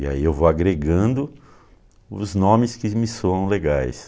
E aí eu vou agregando os nomes que me soam legais.